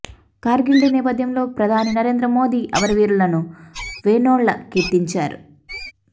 Kargil day నేపథ్యంలో ప్రధాని నరేంద్ర మోదీ అమరవీరులను వేనోళ్ల కీర్తించారు